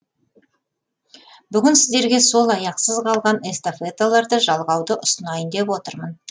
бүгін сіздерге сол аяқсыз қалған эстафеталарды жалғауды ұсынайын деп отырмын